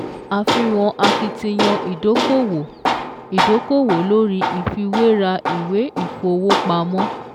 Àfihàn akitiyan ìdókòwò ìdókòwò lórí ìfiwéra ìwé ìfowópamọ́